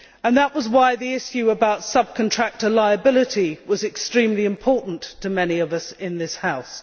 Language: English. That is why the issue of subcontractor liability was extremely important to many of us in this House.